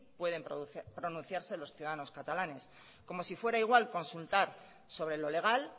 pueden pronunciarse los ciudadanos catalanes como si fuera igual consultar sobre lo legal